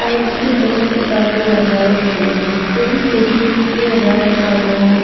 side से बहोत किताबें लगाये गये हैं कई तरीके के रैक लगाये--